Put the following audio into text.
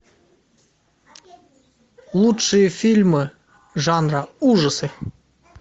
лучшие фильмы жанра ужасы